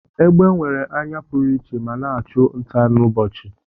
Egbe nwere anya pụrụiche ma na-achụ nta n'ụbọchị.